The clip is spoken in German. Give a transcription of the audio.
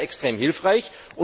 So etwas wäre extrem hilfreich.